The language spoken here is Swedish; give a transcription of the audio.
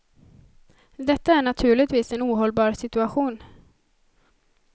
Detta är naturligtvis en ohållbar situation.